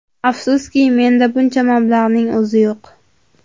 Afsuski, menda buncha mablag‘ning o‘zi yo‘q.